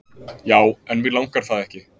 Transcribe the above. já en mig langar það ekki